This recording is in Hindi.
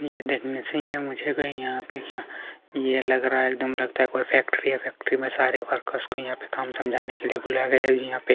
यह देखने से ही ये मुझे कहीं यहाँ पे क्या ये लग रहा है एकदम लगता है कोई फेक्ट्री है फेक्ट्री में सारे वर्कर्स को यहाँ पे काम समझाने के लिए बुलाया गया हैये यहाँ पे--